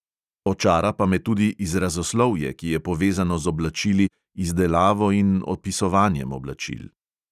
Očara pa me tudi izrazoslovje, ki je povezano z oblačili, izdelavo in opisovanjem oblačil.